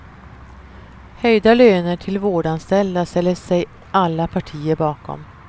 Höjda löner till vårdanställda ställer sig alla partier bakom.